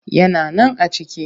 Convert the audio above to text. Yana nan a ciki